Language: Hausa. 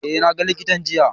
Eh na ga likitan jiya.